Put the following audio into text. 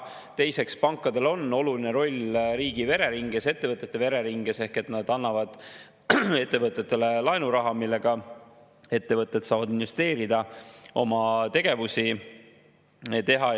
Teiseks, pankadel on oluline roll riigi vereringes, ettevõtete vereringes ehk nad annavad ettevõtetele laenuraha, millega ettevõtted saavad investeerida, oma tegevusi teha.